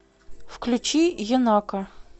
включи енака